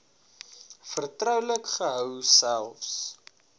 vertroulik gehou selfs